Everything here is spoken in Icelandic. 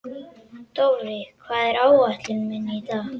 Dofri, hvað er á áætluninni minni í dag?